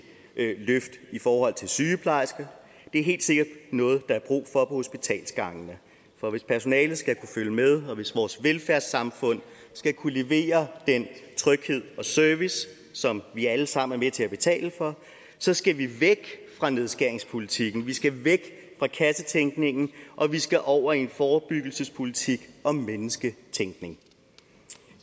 løft i forhold til sygeplejersker det er helt sikkert noget der er brug for på hospitalsgangene for hvis personalet skal kunne følge med og hvis vores velfærdssamfund skal kunne levere den tryghed og service som vi alle sammen er med til at betale for så skal vi væk fra nedskæringspolitikken vi skal væk fra kassetænkningen og vi skal over i en forebyggelsespolitik og mennesketænkning